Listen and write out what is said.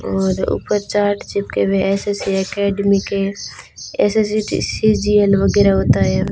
और ऊपर चार्ट चिपके हुए एस_एस_सी एकेडमी के एस_एस_सी सी_जी_एल वगैरा होता है।